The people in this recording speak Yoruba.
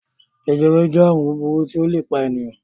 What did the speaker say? Jẹjẹrẹ jẹ́ àrùn búburú tí ó le pa ènìyàn.